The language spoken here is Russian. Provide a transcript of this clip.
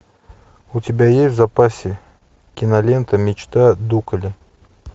у тебя есть в запасе кинолента мечта дукале